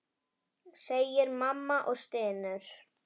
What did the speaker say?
segir mamma og stynur.